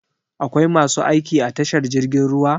Akwai masu aiki a tashar jirgin ruwa?